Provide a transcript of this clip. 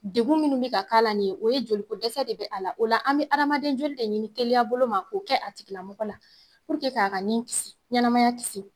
Degun minnu bɛ ka k'a la nin ye, o ye joli ko dɛsɛ de bɛ a la. O la an bɛ adamaden joli de ɲini teliya bolo ma k'o kɛ a tigila mɔgɔ la k'a ka nin kisi ɲɛnamaya kisi.